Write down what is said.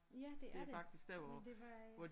Ja det er det men var øh